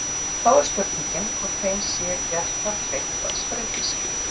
Þá er spurningin hvort þeim sé gert það kleift að spreyta sig.